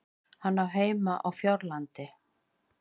Hann á heima á Fjárlandi.